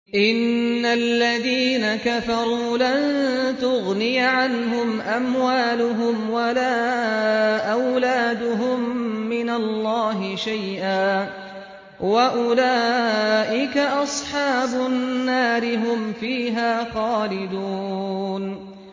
إِنَّ الَّذِينَ كَفَرُوا لَن تُغْنِيَ عَنْهُمْ أَمْوَالُهُمْ وَلَا أَوْلَادُهُم مِّنَ اللَّهِ شَيْئًا ۖ وَأُولَٰئِكَ أَصْحَابُ النَّارِ ۚ هُمْ فِيهَا خَالِدُونَ